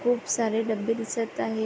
खूप सारे डब्बे दिसत आहे.